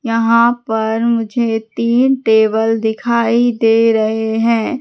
यहां पर मुझे तीन टेबल दिखाई दे रहे हैं।